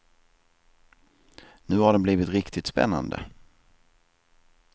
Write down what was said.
Nu har den blivit riktigt spännande.